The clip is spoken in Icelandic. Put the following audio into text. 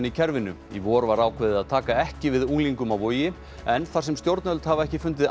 í kerfinu í vor var áveðið að taka ekki við unglingum á Vogi en þar sem stjórnvöld hafa ekki fundið